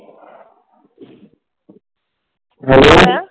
hello ,